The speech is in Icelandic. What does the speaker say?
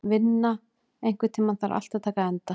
Vilma, einhvern tímann þarf allt að taka enda.